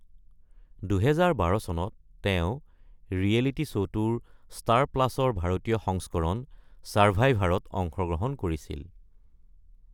২০১২ চনত তেওঁ ৰিয়েলিটি শ্ব’টোৰ ষ্টাৰ প্লাছৰ ভাৰতীয় সংস্কৰণৰ ছাৰভাইভাৰত অংশগ্ৰহণ কৰিছিল।